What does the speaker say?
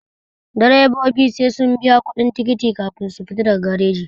Direbobi sai sun biya kuɗin tikiti kafin su fita daga tasha